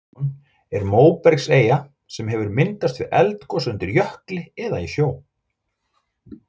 Stóri-Dímon er móbergseyja sem hefur myndast við eldgos undir jökli eða í sjó.